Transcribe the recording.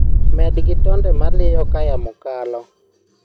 med gi tonde maliyo kaa yamo kalo